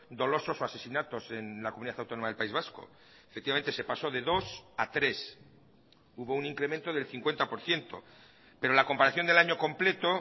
dolosos o asesinatos en la comunidad autónoma del país vasco efectivamente se pasó de dos a tres hubo un incremento del cincuenta por ciento pero la comparación del año completo